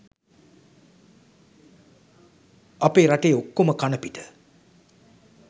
අපෙ රටේ ඔක්කොම කණපිට.